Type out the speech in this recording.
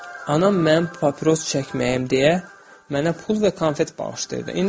Anam mən papiros çəkməyim deyə mənə pul və konfet bağışlayırdı.